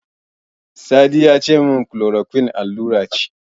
Sadi yace min Chloroquine allura ce.